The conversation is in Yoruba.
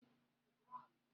Mo ti wọ ẹ̀kú rí.